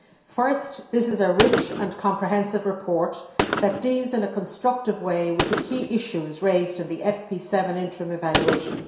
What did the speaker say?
First, this is a rich and comprehensive report that deals in a constructive way with the key issues raised in the FP7 interim evaluation.